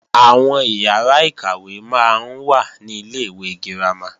Àwọn ìyàrá-ìkàwé máa ń wà ní Ilé-ìwé girama